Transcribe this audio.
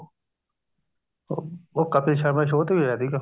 ਅਹ ਉਹ ਕਪਿਲ ਸ਼ਰਮਾ ਦੇ show ਤੇ ਵੀ ਗਿਆ ਸੀਗਾ